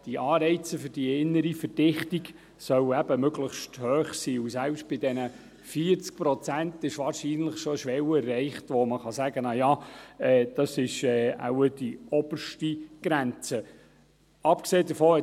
Die Anreize für die innere Verdichtung sollen möglichst hoch sein, und selbst bei diesen 40 Prozent ist wahrscheinlich schon eine Schwelle erreicht, welche als – naja – als oberste Grenze zu sehen ist.